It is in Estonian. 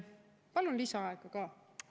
Palun lisaaega ka!